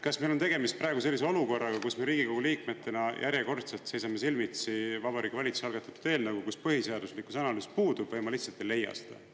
Kas meil on tegemist praegu sellise olukorraga, kus me Riigikogu liikmetena järjekordselt seisame silmitsi Vabariigi Valitsuse algatatud eelnõuga, kus põhiseaduslikkuse analüüs puudub, või ma lihtsalt ei leia seda?